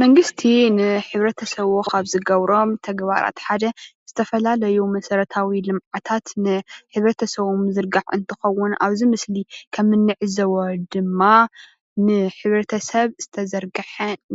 መንግስቲ ንሕብረተሰቡ ካብ ዝገብሮም ተግባራት ሓደ ዝተፈላለዩ መሰረታዊ ልምዓታት ንሕ/ሰቡ ምዝርጋሕ እንትከውን ኣብዚ ምስሊ ከም እንዕዘቦ ድማ ንሕ/ሰብ ዝተዘርገሐ